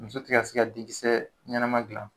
Muso tɛ ka se ka denkisɛ ɲɛnama dilan